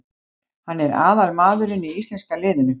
Hann er aðal maðurinn í íslenska liðinu.